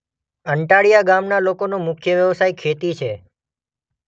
અંટાળીયા ગામના લોકોનો મુખ્ય વ્યવસાય ખેતી છે.